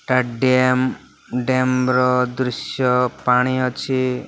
ଟା dam dam ର ଦୃଶ୍ୟ ପାଣି ଅଛି।